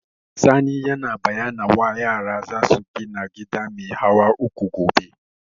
Sani ya bayyana wa yara za su gina gida mai hawa uku gobe